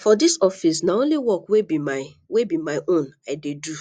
for dis office na only work wey be my wey be my own i dey do